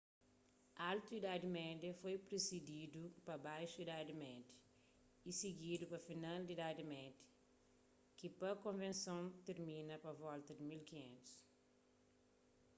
altu idadi média foi prisididu pa baxu idadi média y sigidu pa final di idadi média ki pa konvenson tirmina pa volta di 1500